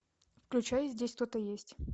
включай здесь кто то есть